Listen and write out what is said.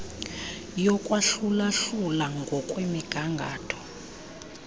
yokwahlula hlula ngokwemigangatho